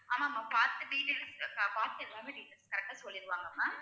ஆமா ma'am பாத்து details அ பாத்து எல்லாமே details correct ஆ சொல்லிருவாங்க ma'am